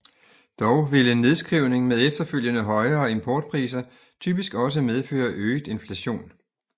Dog vil en nedskrivning med efterfølgende højere importpriser typisk også medføre øget inflation